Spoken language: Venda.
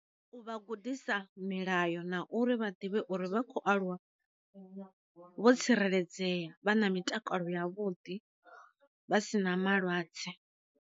U vha gudisa milayo na uri vha ḓivhe uri vha khou aluwa vho tsireledzea vha na mitakalo ya vhuḓi vha si na malwadze.